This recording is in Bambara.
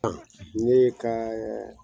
N ye ka